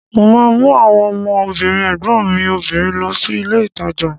Mo ma mú àwọn ọmọ obìnrin ẹ̀gbọ́n mi obìnrin lọ sí ilé ìtajà